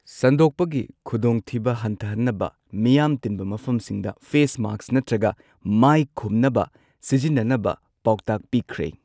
ꯁꯟꯗꯣꯛꯄꯒꯤ ꯈꯨꯗꯣꯡꯊꯤꯕ ꯍꯟꯊꯍꯟꯅꯕ ꯃꯤꯌꯥꯝ ꯇꯤꯟꯕ ꯃꯐꯝꯁꯤꯡꯗ ꯐꯦꯁ ꯃꯥꯁꯛ ꯅꯠꯇ꯭ꯔꯒ ꯃꯥꯁꯛ ꯈꯨꯝꯅꯕ ꯁꯤꯖꯤꯟꯅꯅꯕ ꯄꯥꯎꯇꯥꯛ ꯄꯤꯈ꯭ꯔꯦ꯫